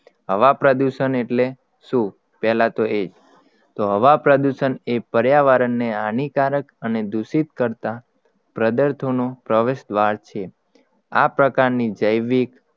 હવા પ્રદુષણ એટલે શું પહેલા તો એ તો હવા પ્રદુષણ એ પર્યાવરણ ને હાનીકારક અને દુષિત કરતા પદાર્થોનો પ્રવેશદ્વાર છે આ પ્રકારની જૈવિક